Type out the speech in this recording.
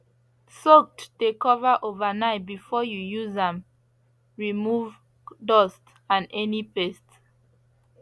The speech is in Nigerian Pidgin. soaked de cover overnight before you use am remove dust and any pest